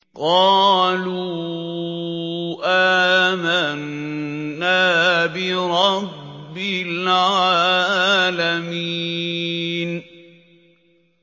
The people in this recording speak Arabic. قَالُوا آمَنَّا بِرَبِّ الْعَالَمِينَ